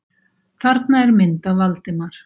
Þarna er mynd af Valdimar.